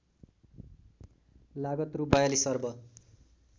लागत रु ४२ अर्ब